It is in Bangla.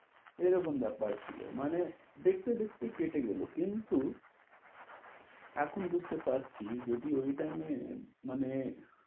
এরকম ব্যাপার ছিল, মানে দেখতে দেখতে কেটে গেল কিন্তু এখন বুঝতে পারছি যদি ঐ time এ মানে,